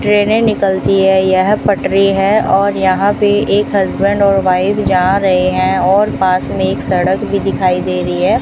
ट्रेनें निकलती हैं यह पटरी है और यहां पे एक हस्बैंड और वाइफ जा रहे हैं और पास में एक सड़क भी दिखाई दे रही है।